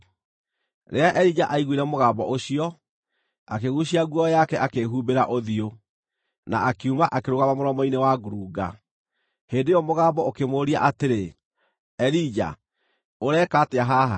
Rĩrĩa Elija aiguire mũgambo ũcio, akĩguucia nguo yake akĩhumbĩra ũthiũ, na akiuma akĩrũgama mũromo-inĩ wa ngurunga. Hĩndĩ ĩyo mũgambo ũkĩmũũria atĩrĩ, “Elija, ũreka atĩa haha?”